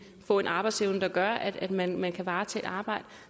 få en arbejdsevne der gør at man man kan varetage et arbejde